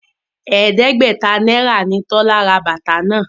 Ẹgbẹ̀ta náírà ni Tọ́lá ra bàtà náà